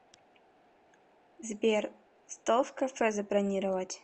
сбер стол в кафе забронировать